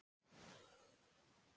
Ætlar þú að gera það?